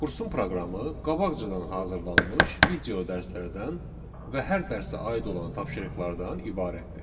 Kursun proqramı qabaqcadan hazırlanmış video dərslərdən və hər dərsə aid olan tapşırıqlardan ibarətdir.